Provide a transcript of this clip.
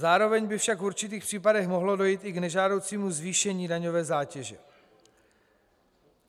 Zároveň by však v určitých případech mohlo dojít i k nežádoucímu zvýšení daňové zátěže.